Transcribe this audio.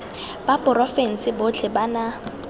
ba porofense botlhe ba na